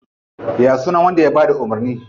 Ya sunan wanda ya bada umurni?